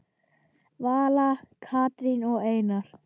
Vala, Katrín og Einar.